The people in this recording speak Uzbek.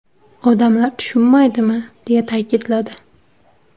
Odamlar tushunmaydimi?”, deya ta’kidladi.